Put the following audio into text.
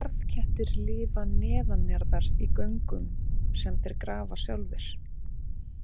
Jarðkettir lifa neðanjarðar í göngum sem þeir grafa sjálfir.